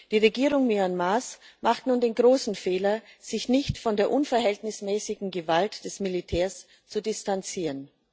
Die Regierung Myanmars macht nun den großen Fehler, sich nicht von der unverhältnismäßigen Gewalt des Militärs zu distanzieren.